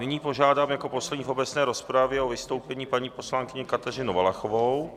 Nyní požádám jako poslední v obecné rozpravě o vystoupení paní poslankyni Kateřinu Valachovou.